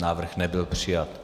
Návrh nebyl přijat.